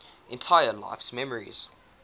entire life's memories